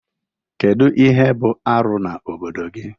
Kedu ihe bụ arụ n'obodo gị?